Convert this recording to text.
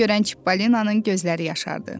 Bunu görən Çippolinonun gözləri yaşardı.